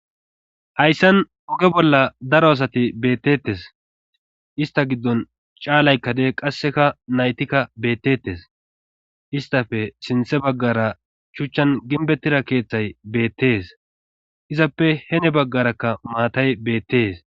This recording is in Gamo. Hayssan uge bolla daro asati beettettes ista giddon caalaykkade qasseka naytikka beettettes istafe sinthe baggara shuchchan ginbettida keeththay beettees izappe hene baggarakka maatay beettees.